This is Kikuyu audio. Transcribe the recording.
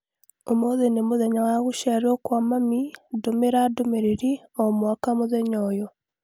Ũmũthĩ nĩ mũthenya wa gũciarwo kwa mami, ndũmĩra ndũmĩrĩri o mwaka mũthenya ũyũ.